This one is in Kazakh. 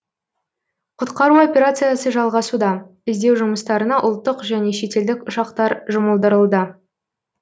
құтқару операциясы жалғасуда іздеу жұмыстарына ұлттық және шетелдік ұшақтар жұмылдырылды